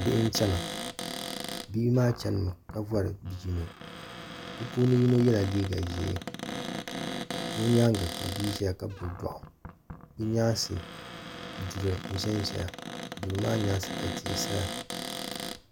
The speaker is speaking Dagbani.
Bihi n chana bihi maa chani mi ka vɔri bia yino bi puuni yino yɛla liiga ʒee kpa o nyaanga ka bia ʒɛya ka gbubi dɔɣu bi nyaansi duri n ʒɛn ʒɛya duri maa nyaansi ka tihi saya.